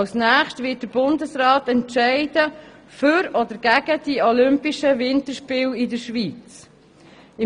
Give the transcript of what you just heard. Als nächstes wird sich der Bundesrat für oder gegen die olympischen Winterspiele in der Schweiz entscheiden.